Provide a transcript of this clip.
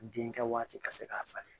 Den kɛ waati ka se k'a falen